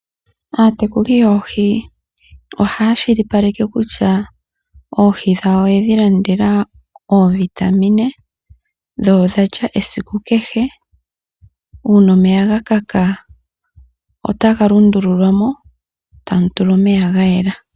Aatekuli yoohi ohaya shilipaleke kutya oohi dhawo oyedhi landela oovitamine dho odhalya esiku kehe uuna omeya ga kaka otaga lundululwa mo tamu tulwa omeya ga yela.